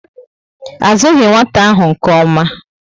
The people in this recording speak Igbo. A zughi nwata ahụ nke ómá